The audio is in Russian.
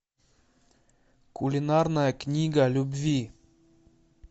кулинарная книга любви